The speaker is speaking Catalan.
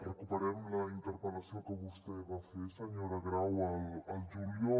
recuperem la interpel·lació que vostè va fer senyora grau al juliol